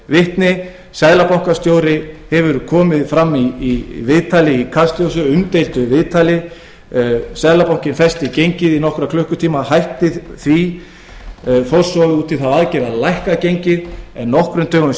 vitni seðlabankastjóri kom fram í umdeildu viðtali í kastljósi seðlabankinn festi gengið í nokkra klukkutíma hætti því fór svo út í þá aðgerð að lækka gengið en hækkaði það nokkrum dögum